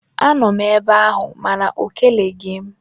Anọ m ebe ahụ mana ọ keleghị m